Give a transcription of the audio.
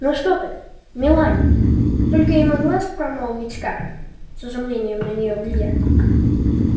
ну что ты мелани только и могла промолвить скарлетт с изумлением на неё глядя